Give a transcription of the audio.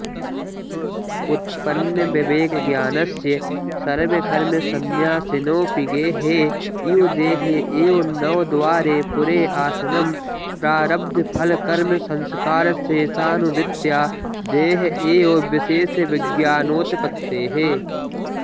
उत्पन्नविवेकज्ञानस्य सर्वकर्मसन्न्यासिनोऽपि गेहे इव देहे एव नवद्वारे पुरे आसनं प्रारब्धफलकर्मसंस्कारशेषानुवृत्त्या देह एव विशेषविज्ञानोत्पत्तेः